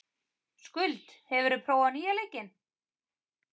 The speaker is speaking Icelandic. Skuld, hefur þú prófað nýja leikinn?